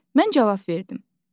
Mən cavab verdim.